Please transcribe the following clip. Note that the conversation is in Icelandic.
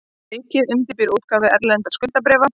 Ríkið undirbýr útgáfu erlendra skuldabréfa